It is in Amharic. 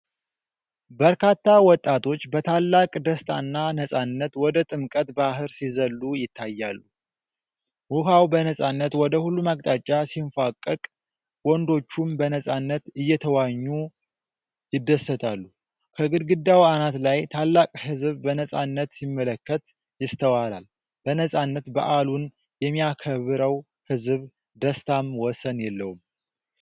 በርካታ ወጣቶች በታላቅ ደስታና ነፃነት ወደ ጥምቀተ ባሕር ሲዘሉ ይታያል። ውኃው በነፃነት ወደ ሁሉም አቅጣጫ ሲንፏቀቅ፣ ወንዶቹም በነፃነት እየተዋኙ ይደሰታሉ። ከግድግዳው አናት ላይ ታላቅ ሕዝብ በነፃነት ሲመለከት ይስተዋላል፣ በነፃነት በዓሉን የሚያከብረው ሕዝብ ደስታም ወሰን የለውም።